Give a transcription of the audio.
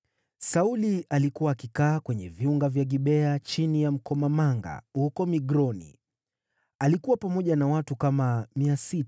Sauli alikuwa akikaa kwenye viunga vya Gibea chini ya mkomamanga huko Migroni. Alikuwa pamoja na watu kama 600,